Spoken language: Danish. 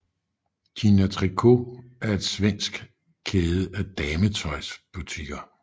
Gina Tricot er en svensk kæde af dametøjsbutikker